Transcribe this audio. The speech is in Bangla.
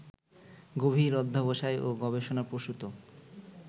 গভীর অধ্যবসায় ও গবেষণাপ্রসূত